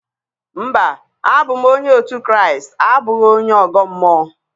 Mba, abụ m onye òtù Kraịst abụghị onye ọgọ mmụọ.